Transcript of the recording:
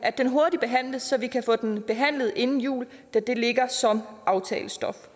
behandles hurtigt så vi kan få den behandlet inden jul da det ligger som aftalestof